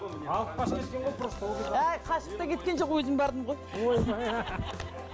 әй қашып та кеткен жоқ өзім бардым ғой